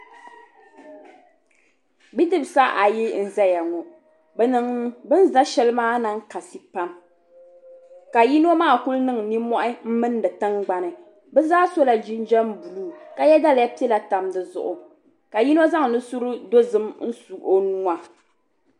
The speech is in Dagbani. Bidibsi ayi n zaya ŋɔ bini za sheli maa niŋ kasi pam ka yino maa kuli niŋ ninmohi m mindi tingbani bɛ zaa sola jinjiɛm buluu ka ye daliya piɛla tam di zuɣu ka yino zaŋ nusuri dozim su o nuua.